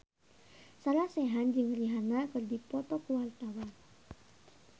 Sarah Sechan jeung Rihanna keur dipoto ku wartawan